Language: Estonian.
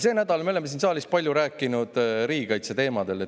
Sel nädalal me oleme siin saalis palju rääkinud riigikaitseteemadel.